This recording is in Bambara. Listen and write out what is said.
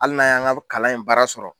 Hali n'a y'an ka kalan in baara sɔrɔ.